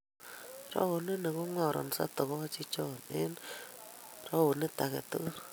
Raoni kongaransot togochik cho eng runingait age tugul.